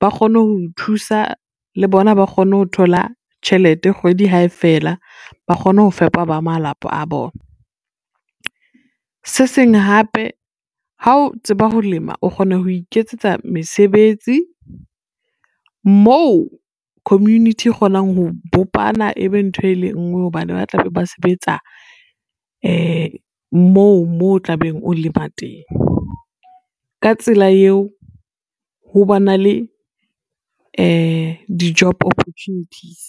ba kgone ho o thusa le bona ba kgone ho thola tjhelete kgwedi hae fela ba kgone ho fepa ba malapa a bona. Se seng hape ha o tseba ho lema, o kgona ho iketsetsa mesebetsi moo community kgonang ho bopana ebe ntho e le ngwe hobane ba tla be ba sebetsa moo o tla be o lema teng, ka tsela eo ho ba na le di-job opportunities.